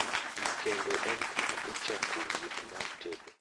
Kendo en kama ichako wuoth mar tedo